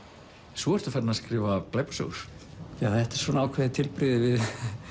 svo ertu farinn að skrifa glæpasögur já þetta er svona ákveðið tilbrigði við